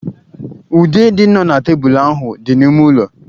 Ude dị nọ na tebụl ahụ dị n'ime ụlọ.